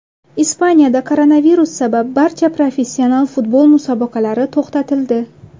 Ispaniyada koronavirus sabab barcha professional futbol musobaqalari to‘xtatildi.